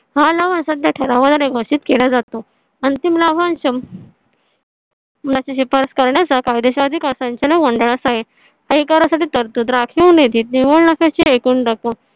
हा लावा सात या ठरावा ला नाही घोषित केला जातो अंतिम लाभांश मला ची पास करण्याचा कायदेशीर अधिकार आहे तरतूद राखून येते एकूण